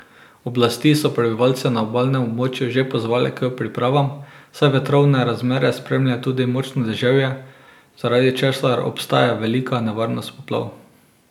Oblasti so prebivalce na obalnem območju že pozvale k pripravam, saj vetrovne razmere spremlja tudi močno deževje, zaradi česar obstaja velika nevarnost poplav.